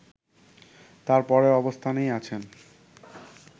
তার পরের অবস্থানেই আছেন